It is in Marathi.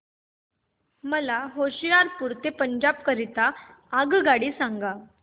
मला होशियारपुर ते पंजाब करीता आगगाडी सांगा